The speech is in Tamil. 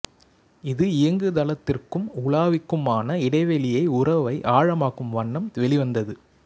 இது இயங்குதளத்திற்கும் உலாவிக்குமான இடைவெளியை உறவை ஆழமாக்கும் வண்ணம் வெளிவந்தது